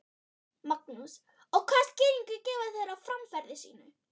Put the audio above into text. Magnús: Og hvaða skýringu gefa þeir á framferði sínu?